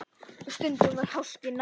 Og stundum var háskinn nærri.